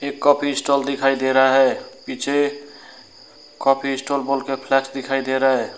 Coffee stall दिखाई दे रहा है पीछे कॉफी स्टॉल बोलकर फ्लैश दिखाई दे रहा है।